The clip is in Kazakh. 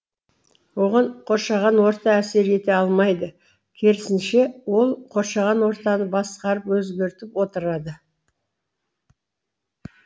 оған қоршаған орта әсер ете алмайды керісінше ол қоршаған ортаны басқарып өзгертіп отырады